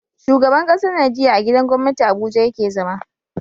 Shugaban ƙasar Nigeria a gidan gwamnati abuja yake zama